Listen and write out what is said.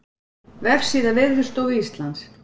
Vefsíða Veðurstofu Íslands